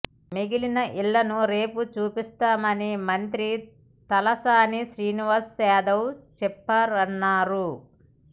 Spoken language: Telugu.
మిగిలిన ఇళ్లను రేపు చూపిస్తామని మంత్రి తలసాని శ్రీనివాస్ యాదవ్ చెప్పారన్నారు